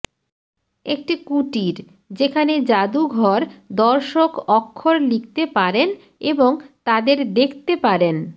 একটি কুটির যেখানে যাদুঘর দর্শক অক্ষর লিখতে পারেন এবং তাদের দেখতে পারেন